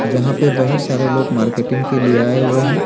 यहां पे बहुत सारे लोग मार्केटिंग के लिए आए हुए हैं।